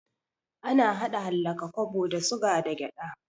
Ana hada hallaka kwabo da suga da gyaɗa